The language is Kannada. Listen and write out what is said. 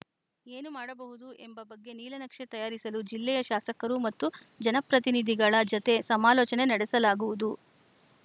ಏನು ಮಾಡಬಹುದು ಎಂಬ ಬಗ್ಗೆ ನೀಲನಕ್ಷೆ ತಯಾರಿಸಲು ಜಿಲ್ಲೆಯ ಶಾಸಕರು ಮತ್ತು ಜನಪ್ರತಿನಿಧಿಗಳ ಜೊತೆ ಸಮಾಲೋಚನೆ ನಡೆಸಲಾಗುವುದು